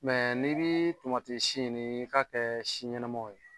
n'i bii tomati si ɲini i k'a kɛɛ si ɲɛnamaw ye.